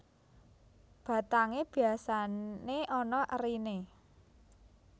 Batangé biasané ana eriné